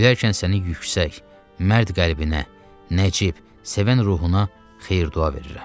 Ölərkən səni yüksək, mərd qəlbinə, nəcib, sevən ruhuna xeyr-dua verirəm.